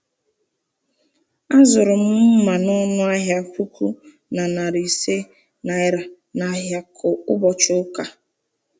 Azụrụ m mma m n'ọnụ ahịa puku na narị ise naira n’ahịa ụbọchị ụka.